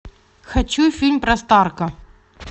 хочу фильм про старка